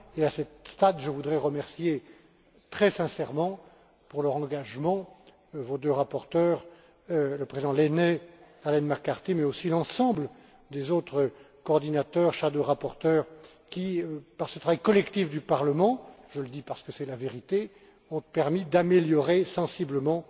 À ce stade, je voudrais remercier très sincèrement pour leur engagement vos deux rapporteurs, le président Lehne et Arlene McCarthy, mais aussi l'ensemble des autres coordinateurs et rapporteurs fictifs qui, par ce travail collectif du Parlement je le dis parce que c'est la vérité ont permis d'améliorer sensiblement